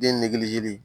Den nege